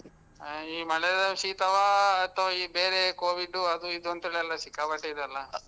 ಆ ಈ ಮಳೆ ಶೀತವಾ ಅಥ್ವಾ ಈ ಬೇರೆ Covid ಅದೂ ಇದೂ ಅಂತ ಸಿಕ್ಕಾಪಟ್ಟೆ ಇದೆ ಅಲ್ಲಾ.